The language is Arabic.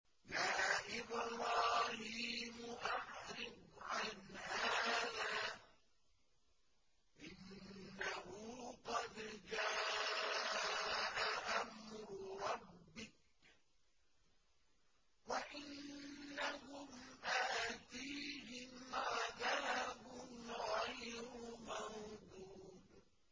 يَا إِبْرَاهِيمُ أَعْرِضْ عَنْ هَٰذَا ۖ إِنَّهُ قَدْ جَاءَ أَمْرُ رَبِّكَ ۖ وَإِنَّهُمْ آتِيهِمْ عَذَابٌ غَيْرُ مَرْدُودٍ